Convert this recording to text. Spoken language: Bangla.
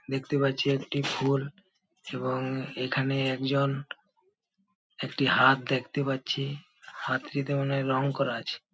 দেখতে পাচ্ছি একটি ফুল এবং এখানে একজন একটি হাত দেখতে পাচ্ছি হাতটিতে মনে হয় রং করা আছে।